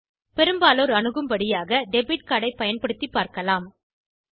பெரும்பாலோர் அணுகும்படியாக debit card ஐ பயன்படுத்திப் பார்க்கலாம்